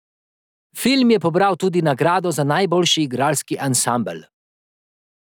Film je pobral tudi nagrado za najboljši igralski ansambel.